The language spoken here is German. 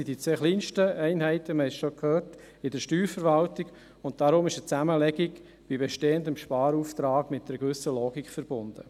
Es sind die zwei kleinsten Einheiten in der Steuerverwaltung – wir haben es bereits gehört –, und deshalb ist eine Zusammenlegung bei bestehendem Sparauftrag mit einer gewissen Logik verbunden.